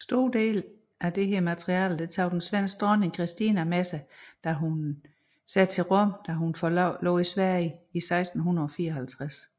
Store dele af dette materiale tog den svenske dronning Kristina med sig til Rom da hun forlod Sverige 1654